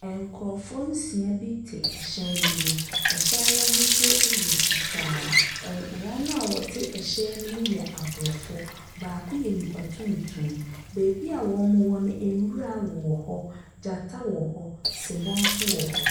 Nkorofoɔ nsia te ɛhyɛn bi mu. Ɛhyɛn no ahusuo yɛ fitaa. Wɔn a ɛte ɛhyɛn no mu nyinaa aborɔfo, baako yɛ nnipa tuntum. Baabi a ɔmo wɔ no nwura wowɔ hɔ, gyata wɔ hɔ, sebɔ nso wɔ hɔ.